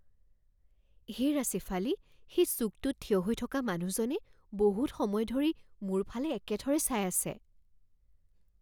হেৰা শ্বেফালী, সেই চুকটোত থিয় হৈ থকা মানুহজনে বহুত সময় ধৰি মোৰ ফালে একেথৰে চাই আছে।